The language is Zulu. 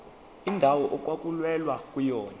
indawo okwakulwelwa kuyona